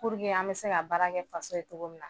an bɛ se ka baara kɛ faso ye cogo min na